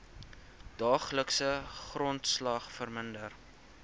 daaglikse grondslag verminder